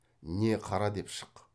не қара деп шық